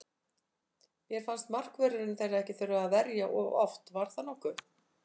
Mér fannst markvörðurinn þeirra ekki þurfa að verja of oft, var það nokkuð?